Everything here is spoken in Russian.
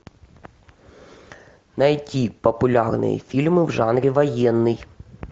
найти популярные фильмы в жанре военный